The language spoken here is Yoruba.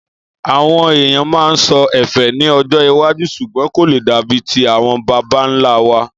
Àwon èèyàn maa so ẹ́fẹ́ ní ọjọ́ iwájú sùgbón kò le dàbi ti àwon babanlá wa.